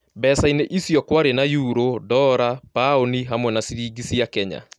Mbecaini icio kwari na yuro, ndora paũni hamwe na ciringi cia Kenya